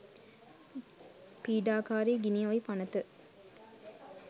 පීඩාකාරි ගිනි අවි පනත